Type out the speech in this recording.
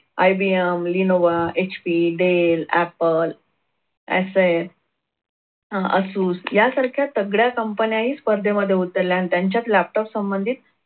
IBMlenovaHPdell appleFA अह asus यासारख्या तगड्या कंपन्याही स्पर्धेमध्ये उतरल्या आणि त्यांच्यात laptop संबंधित